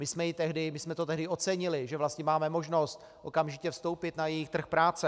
My jsme to tehdy ocenili, že vlastně máme možnost okamžitě vstoupit na její trh práce.